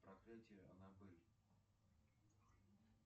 проклятие анабель